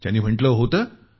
त्यांनी म्हटल होतं